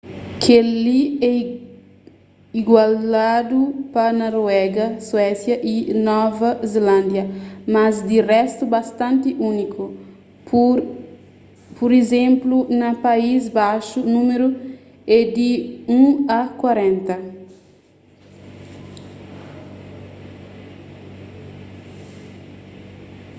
kel-li é igualadu pa noruega suésia y nova zelándia mas di réstu bastanti úniku pur izénplu na país baxu númeru édi un a korenta